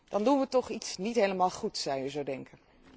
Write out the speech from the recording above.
Dan doen we toch iets niet helemaal goed, zou je zo denken.